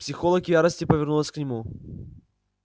психолог в ярости повернулась к нему